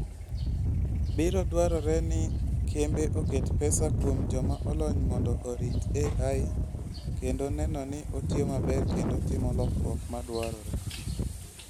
Biro dwarore ni kembe oket pesa kuom joma olony mondo orit AI kendo neno ni otiyo maber kendo timo lokruok ma dwarore